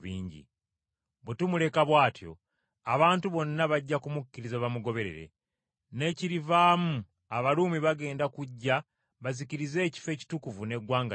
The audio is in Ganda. Bwe tumuleka bw’atyo, abantu bonna bajja kumukkiriza bamugoberere, n’ekirivaamu Abaruumi bagenda kujja bazikirize ekifo ekitukuvu n’eggwanga lyaffe.”